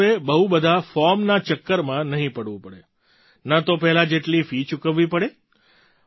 તેમાં હવે બહુ બધાં ફૉર્મ ચક્કરમાં નહીં પડવું પડે ન તો પહેલા જેટલી ફી ચૂકવવી પડે